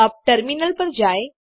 अब टर्मिनल पर जाएँ